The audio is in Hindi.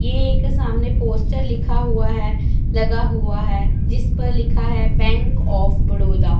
ये एक सामने पोस्टर लिखा हुआ है लगा हुआ है जिस पर लिखा है बैंक ऑफ़ बड़ौदा --